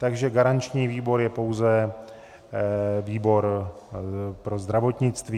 Takže garanční výbor je pouze výbor pro zdravotnictví.